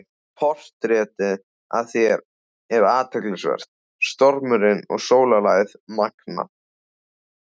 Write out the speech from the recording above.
Portrettið af þér er athyglisvert- stormurinn og sólarlagið magnað.